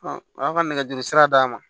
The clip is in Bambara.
a y'aw ka nɛgɛjuru sira d'a ma